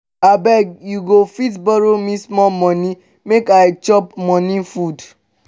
abeg you go fit borrow me small money make i chop morning food